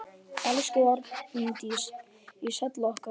Elsku Arndís Halla okkar.